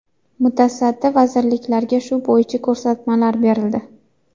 Mutasaddi vazirliklarga shu bo‘yicha ko‘rsatmalar berildi.